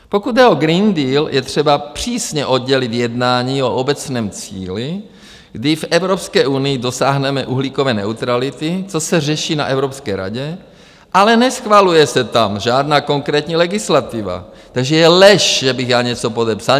Pokud jde o Green Deal, je třeba přísně oddělit jednání o obecném cíli, kdy v Evropské unii dosáhneme uhlíkové neutrality - to se řeší na Evropské radě, ale neschvaluje se tam žádná konkrétní legislativa, takže je lež, že bych já něco podepsal.